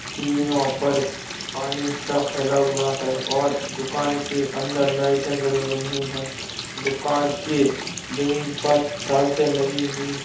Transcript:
सीढ़ियों पर पानी सब फैला हुआ है और दुकान के अंदर लाइटें जल रही है दुकान के जमीन पर टाइल्से लगी हुई है।